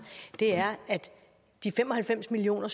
er at de fem og halvfems million